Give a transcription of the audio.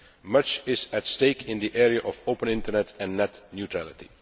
Much is at stake in the area of open internet and net neutrality.